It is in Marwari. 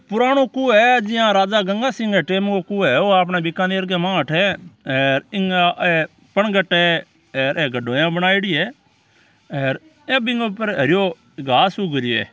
पुराणों कुओ है जिया राजा गंगासिह टेम रो कुओ है ओ आपणे बीकानेर के माय है अठे ऐ इंक ऐ पणघट है हेर ए गडोरिया बनायोडी है हेर ए बीके ऊपर हरियो घास उग रियो है।